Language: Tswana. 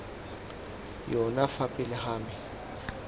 yona fa pele ga me